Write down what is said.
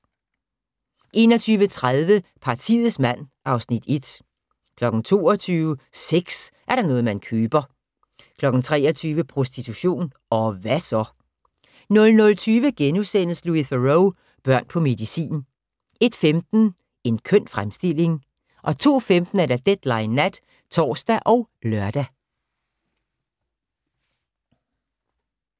21:30: Partiets mand (Afs. 1) 22:00: Sex er da noget man køber 23:00: Prostitution – og hva' så? 00:20: Louis Theroux: Børn på medicin * 01:15: En køn fremstilling 02:15: Deadline Nat (tor og lør)